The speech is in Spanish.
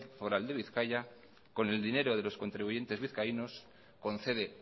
foral de bizkaia con el dinero de los contribuyentes vizcaínos concede